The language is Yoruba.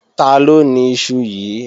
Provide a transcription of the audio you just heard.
Taló ni iṣu yíì?